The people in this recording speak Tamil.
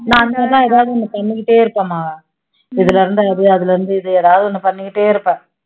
நான் வந்து எதாவது ஒண்ணு பண்ணிக்கிட்டே இருப்பேன் மகா, இதுலருந்து அது அதுலருந்து இது எதாவது ஒண்ணு பண்ணிக்கிட்டே இருப்பேன்